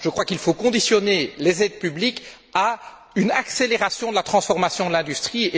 Je crois qu'il faut conditionner les aides publiques à une accélération de la transformation de l'industrie.